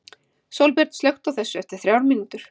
Sólbjörn, slökktu á þessu eftir þrjár mínútur.